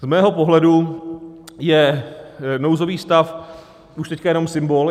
Z mého pohledu je nouzový stav už teď jenom symbol.